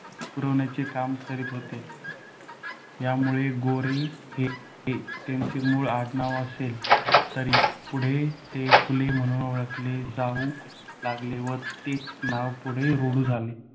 पुरवण्याचे काम करीत होते. त्यामुळे गोरे हे त्यांचे मूळ आडनाव असले तरी, पुढे ते फुले म्हणून ओळखले जाऊ लागले व तेच नाव पुढे रूढ झाले.